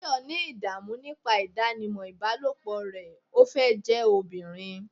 Tayo ní idamu nipa idanimọ ibalopo rẹ, o fẹ jẹ ọbirin